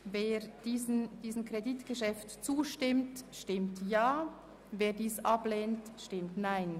Wer diesem Kreditgeschäft zustimmt, stimmt Ja, wer dieses ablehnt, stimmt Nein.